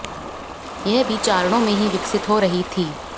यह भी चारणों में ही विकसित हो रही थी